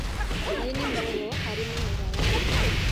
Maĩ nĩ mũoyo harĩ mĩmera ya nyamũ